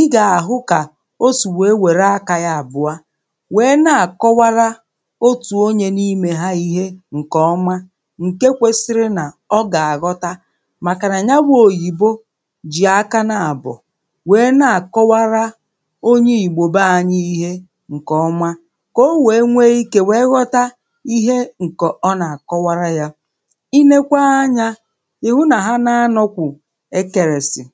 ị gà-àhụ kà o si wèe wère akā yā àbụọ wèe na-àkọwara otù onyē n’imē hā ihe ǹkèọma ǹke kwesiri nà ọ gà-àghọta otù onyē n’imē hā ihe ǹkèọma ǹke kwesiri nà ọ gà-àghọta màkà nà nya wụ̄ òyìbo jì aka naàbọ̀ wèe na-àkọwara onye ìgbò be anyị̄ ihe ǹkèọma kà o wèe nwee ikē wèe ghọta ihe ǹkè ọ nà-àkọwara yā. I leekwa anyā, ị̀hụ nà ha naanọ̄ kwụ̀ ẹtẹ̀rẹ̀sị̀.